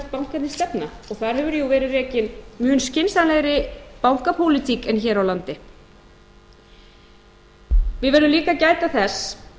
bankarnir stefna og þar hefur jú verið rekin mun skynsamlegri bankapólitík en hér á landi við verðum líka að gæta þess